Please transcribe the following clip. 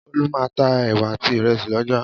Olú máa ń ta ẹ̀wà àti ìrẹsì lọ́jà.